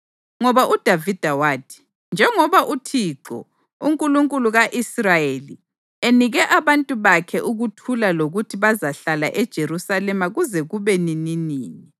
Ngoba uDavida wathi: “Njengoba uThixo, uNkulunkulu ka-Israyeli, enike abantu bakhe ukuthula lokuthi bazahlala eJerusalema kuze kube nininini,